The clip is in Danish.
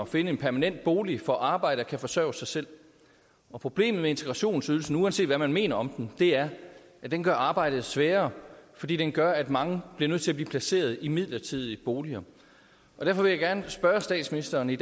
finde en permanent bolig får arbejde og kan forsørge sig selv problemet med integrationsydelsen uanset hvad man mener om den er at den gør arbejdet sværere fordi den gør at mange bliver nødt til at blive placeret i midlertidige boliger derfor vil jeg gerne spørge statsministeren i